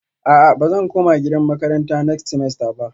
A'a bazan koma gidan makaranta next semester ba